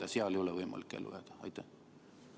Aga seal ei ole võimalik ellu jääda.